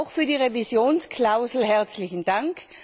Auch für die Revisionsklausel herzlichen Dank.